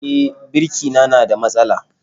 E, birki na na da matsala